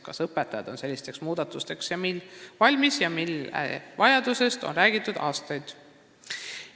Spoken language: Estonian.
Kas õpetajad selliseks muudatuseks, mille vajadusest on räägitud aastaid, on olemas?